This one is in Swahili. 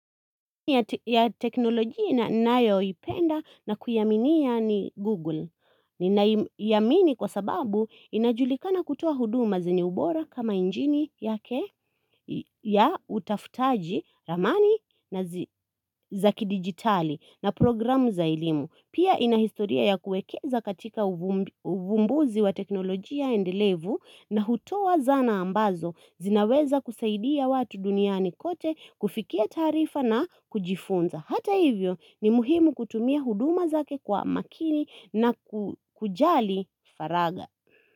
Ya teknoloji na nayo ipenda na kuyaminia ni google ninaiyamini kwa sababu inajulikana kutoa huduma zenye ubora kama injini yake ya utafutaji ramani nazi zi zaki digitali na programu za elimu pia inahistoria ya kuwekeza katika ufumb ufumbuzi wa teknoloji endelevu na hutoa zana ambazo zinaweza kusaidia watu duniani kote kufikia tarifa na kujifunza. Hata hivyo ni muhimu kutumia huduma zake kwa makini na ku kujali faraga.